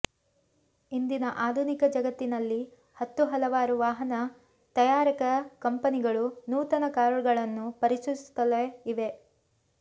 ಇಂದಿನ ಆಧುನಿಕ ಜಗತ್ತಿನಲ್ಲಿ ಹತ್ತು ಹಲವಾರು ವಾಹನ ತಯಾರಕ ಕಂಪನಿಗಳು ನೂತನ ಕಾರುಗಳನ್ನು ಪರಿಚಯಿಸುತ್ತಲೇ ಇವೆ